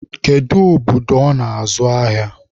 Kedu obodo ọ nọ azụ ahịa?